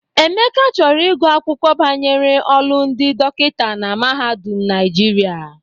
Emeka chọrọ ịgụ akwụkwọ banyere ọlụ ndi dọkịta na mahadum Naijiria.